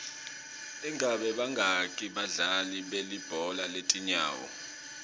ingabe bangaki badlali belibhola letinyawo